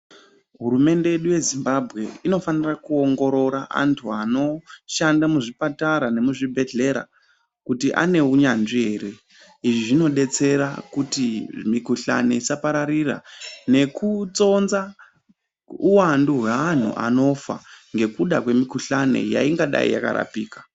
Hurumende yedu yezimbabwe inofana kuongorora antu vanoshanda muzvipatara nemuzvibhedhlera kuti ane hunyanzvi here izvi zvinodetsera kuti mikuhlani isapararira nekutsonza uwandu vewanhu anofa nekuda kwemikuhlani yaidai yakarapika.